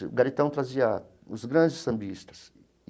O Garitão trazia os grandes sambistas.